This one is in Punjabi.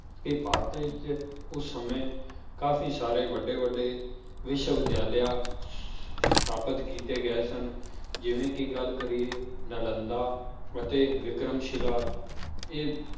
ਕਿ ਭਾਰਤ ਵਿੱਚ ਉਸ ਸਮੇਂ ਕਾਫ਼ੀ ਸਾਰੇ ਵੱਡੇ ਵੱਡੇ ਵਿਸ਼ਵ ਵਿਦਿਆਲਯ ਸਥਾਪਿਤ ਕੀਤੇ ਗਏ ਸਨ, ਜਿਵੇਂ ਕਿ ਗੱਲ ਕਰੀਏ ਨਲੰਦਾ ਅਤੇ ਵਿਕਰਮ ਸ਼ਿਲਾ ਇਹ,